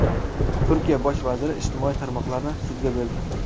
Turkiya bosh vaziri ijtimoiy tarmoqlarni sudga berdi.